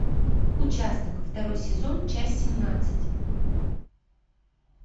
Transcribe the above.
участок второй сезон часть семнадцать